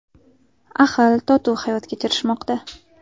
Ahil-totuv hayot kechirishmoqda.